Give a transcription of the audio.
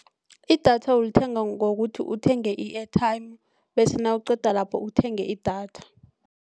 Idatha ulithenga ngokuthi uthenge i-airtime bese nawuqeda lapho uthenge idatha.